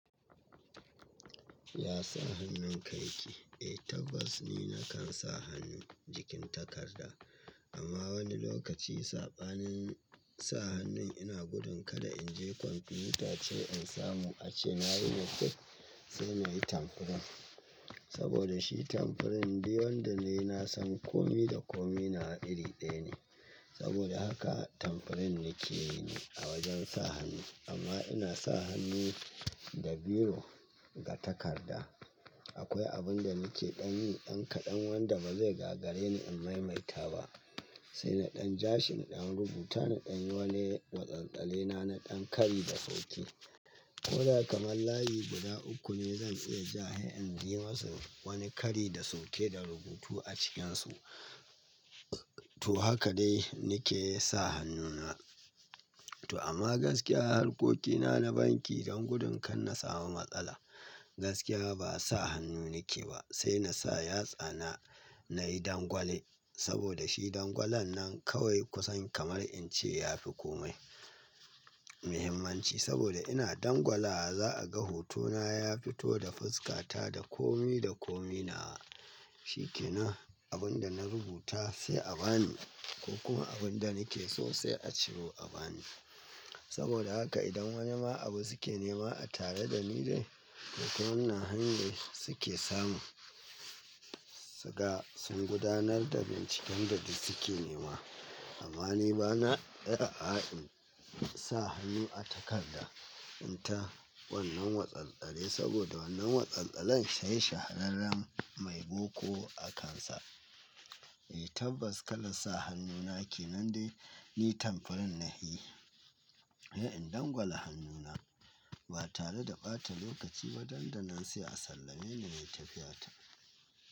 Ya sa hannun ka yake? Eh tabbas ni na kan sa hannu jikin takarda amma wani lokaci saɓanin sa hannun ina gudun kada in je kwamfutace in samu ace na yi notef sai na yi tombprint. Saboda shi tamprint diwan da na yi na san kome da kome nawa iri ɗaya ne. Saboda haka tamprint nake yi ni a wajen sa hannu amma ina sa hannu da biro ga takarda. Akwai abun da nake ɗan yi ɗan kaɗan wanda ba zai gaggare ni in maimaita ba. Sai na ɗan ja shi na ɗan rubuta na ɗan yi wani watsatsale na na ɗan kari da sauki, ko da kamar layi guda uku ne zan tsaya ja hai in yi masa wani kari da sauke da rubutu a cikinsu. To haka dai nake sa hannuna. To amma gaskiya harkokina na banki don gudun kan na samu matsala, gaskiya ba sa hannu nake ba sai na sa yatsana nayi dangwale saboda shi dangwalon nan kawai kusan kamar in ce ya fi kome muhimmanci saboda ina dangwala za a ga hotona ya fito da fuskata da kome da komina shi ke nan. Abun da na rubuta sai a bani ko kuma abun da nake so sai a ciro a bani. Saboda haka idan wani ma abu suke nema a tare da ni dai to wannan hanyar suke samu. Siga sun gudanar da binciken da suke nema amma ni bana iya a'a in sa hannu a takarda in ta wannan watsatsale saboda wannan watsatsalen shay shahararren mai boko akansa. Eh tabbas kalan sa hannuna ke nan dai ni tombprint nayi. Eh in dangwala hannuna ba tare da ɓata lokaci dan da nan sai a sallame ni nai tafiyata.